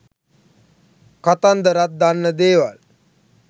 කතන්දරත් දන්න දේවල්